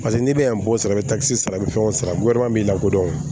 Paseke n'i bɛ yan bɔn sɔrɔ kisɛ sara bɛ fɛnw san b'i lakodɔn